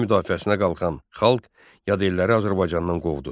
Vətənin müdafiəsinə qalxan xalq yadelliləri Azərbaycandan qovdu.